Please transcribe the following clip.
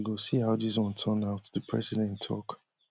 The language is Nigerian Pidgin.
so we go see how dis one turn out di president tok